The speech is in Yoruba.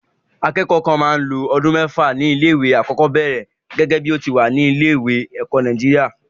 Akẹ́kọ̀ọ́ kan máa lo ọdún mẹ́fà ní ilé-ìwé alákọ̀ọ́bẹ̀ẹ̀rẹ̀ gẹ́gẹ́ bí ó ti wà nínú ètò ẹ̀kọ́ ní orílẹ̀-èdè Nàìjíríà.